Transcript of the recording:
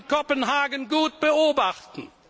konnte man in Kopenhagen gut beobachten.